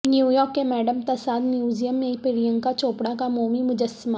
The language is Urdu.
نیویارک کے میڈم تساد میوزیم میں پرینکا چوپڑہ کا مومی مجسمہ